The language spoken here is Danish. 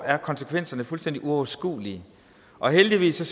er konsekvenserne fuldstændig uoverskuelige og heldigvis kan